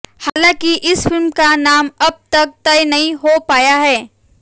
हालांकि इस फिल्म का नाम अब तक तय नहीं हो पाया है